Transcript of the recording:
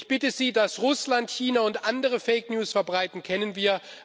Ich bitte Sie Dass Russland, China und andere Fake News verbreiten, kennen wir.